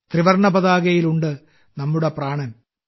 ത്രിവർണപതാകയിൽ ഉണ്ട് നമ്മുടെ പ്രാണൻ